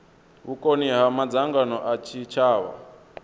vhukoni ha madzangano a tshitshavha